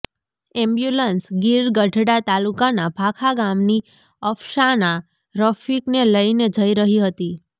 ambulance Gir Gadhada તાલુકાના ભાખા ગામની અફસાના રફીકને લઈને જઈ રહી હતી